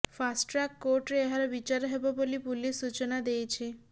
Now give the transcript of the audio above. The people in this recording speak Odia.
ଫାଷ୍ଟଟ୍ରାକ କୋର୍ଟରେ ଏହାର ବିଚାର ହେବ ବୋଲି ପୁଲିସ ସୂଚନା ଦେଇଛି